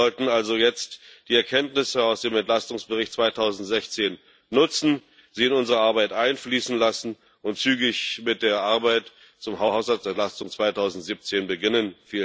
Wir sollten also jetzt die Erkenntnisse aus dem Entlastungsbericht 2016 nutzen, sie in unsere Arbeit einfließen lassen und zügig mit der Arbeit zur Haushaltsentlastung 2017 beginnen.